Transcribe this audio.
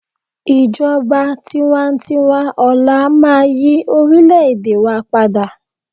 ijoba tiwantiwa ọlá ma yí orilẹ ede wa pada